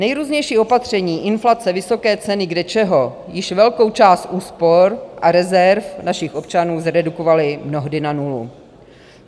Nejrůznější opatření, inflace, vysoké ceny kde čeho již velkou část úspor a rezerv našich občanů zredukovaly mnohdy na nulu.